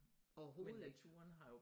Overhovedet ikke